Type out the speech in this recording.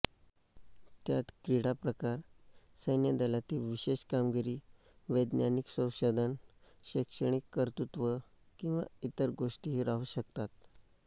त्यात क्रिडाप्रकार सैन्यदलातील विशेष कामगिरी वैज्ञानिक संशोधन शैक्षणिक कर्तुत्व किंवा इतर गोष्टीही राहू शकतात